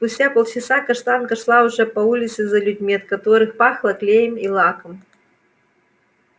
спустя полчаса каштанка шла уже по улице за людьми от которых пахло клеем и лаком